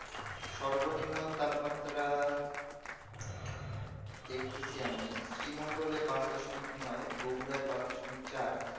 সর্ব নিম্ন তাপমাত্রা দেখতেছি আমি শ্রী মঙ্গলে পাঁচ দশমিক নয় বগুড়া পাঁচ দশমিক চার